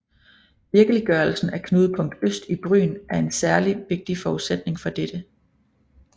Virkeliggørelsen af Knudepunkt Øst i Bryn er en særlig vigtig forudsætning for dette